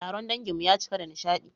Taron danginmu ya cika da nishadi